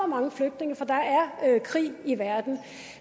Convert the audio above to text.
mange flygtninge for der er krig i verden